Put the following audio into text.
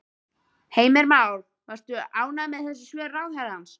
Heimir Már: Varst þú ánægð með þessi svör ráðherrans?